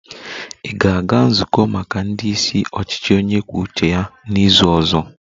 Ị ga-aga nzukọ maka ndị isi ọchịchị onye kwuo uche ya n'izu ọzọ!